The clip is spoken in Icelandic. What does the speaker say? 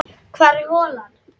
Hvar er holan?